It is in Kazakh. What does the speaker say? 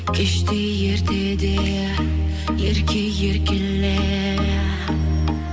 кеште ертеде ерке еркеле